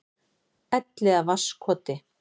Elliðavatnskoti